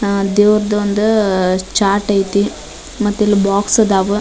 ಆ ದೇವ್ರದ್ ಒಂದು ಚಾರ್ಟ್ ಐತಿ ಮತ್ತಿಲ್ಲಿ ಬೋಕ್ಸ್ ಅದಾವು.